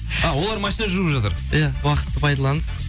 а олар машина жуып жатыр иә уақытты пайдаланып